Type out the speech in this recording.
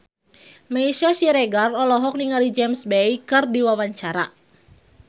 Meisya Siregar olohok ningali James Bay keur diwawancara